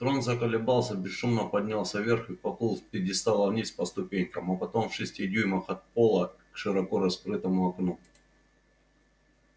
трон заколебался бесшумно поднялся вверх и поплыл с пьедестала вниз по ступенькам а потом в шести дюймах от пола к широко раскрытому окну